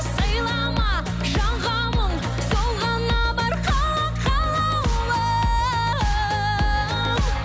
сыйлама жанға мұң сол ғана бар қала қалаулым